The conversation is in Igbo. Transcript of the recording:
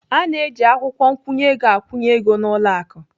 A na-eji akwụkwọ nkwụnye ego akwụnye ego n'ụlọ akụ.